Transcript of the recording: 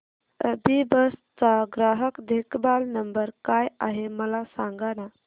अभिबस चा ग्राहक देखभाल नंबर काय आहे मला सांगाना